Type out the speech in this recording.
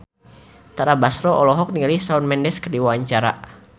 Tara Basro olohok ningali Shawn Mendes keur diwawancara